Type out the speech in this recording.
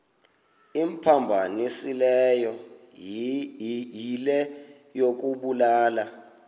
imphambanisileyo yile yokubulala